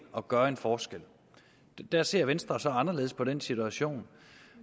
og gøre en forskel der ser venstre så anderledes på den situation